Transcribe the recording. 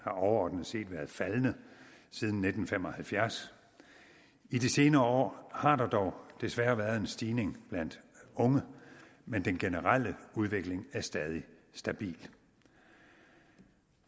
overordnet set været faldende siden nitten fem og halvfjerds i de senere år har der dog desværre været en stigning blandt unge men den generelle udvikling er stadig stabil